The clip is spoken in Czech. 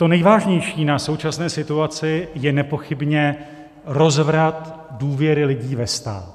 To nejvážnější na současné situaci je nepochybně rozvrat důvěry lidí ve stát.